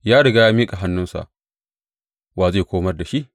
Ya riga ya miƙa hannunsa, wa zai komar da shi?